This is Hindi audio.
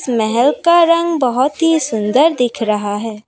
महल का रंग बहोत ही सुंदर दिख रहा है।